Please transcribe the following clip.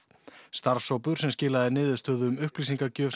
starfshópur sem skilaði niðurstöðu um upplýsingagjöf